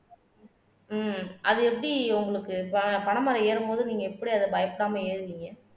ஹம் அது எப்படி உங்களுக்கு ப பனைமரம் ஏறும் போது நீங்க எப்படி அதை பயப்படாம ஏறுவீங்க